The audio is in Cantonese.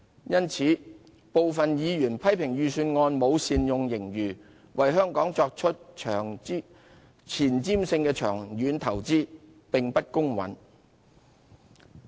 因此，部分委員批評預算案沒有善用盈餘，為香港作出前瞻性的長遠投資，此說法有欠公允。